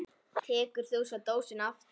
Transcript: Tekur þú svo dósina aftur?